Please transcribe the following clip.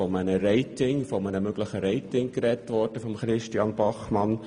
Bachmann sprach von einem möglichen Rating.